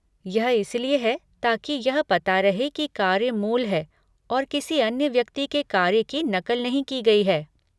यह इसलिए है ताकि यह पता रहे कि कार्य मूल है और किसी अन्य व्यक्ति के कार्य की नक़ल नहीं की गई है।